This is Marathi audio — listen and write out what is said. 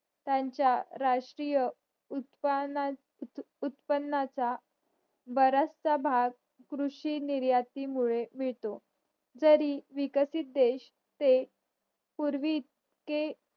त्यांचा राष्ट्रीय उत्पनात उत्पनाचा बराचसा भाग कृषी निर्याती मुळे मिळतो जर विकसित देश पूर्वी के